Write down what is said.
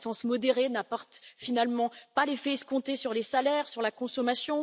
La croissance modérée n'apporte finalement pas l'effet escompté sur les salaires, ni sur la consommation.